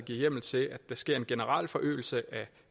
hjemmel til at der sker en generel forøgelse af